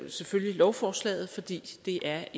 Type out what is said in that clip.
selvfølgelig lovforslaget fordi det er